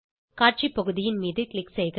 காட்சி பகுதியின் மீது க்ளிக் செய்க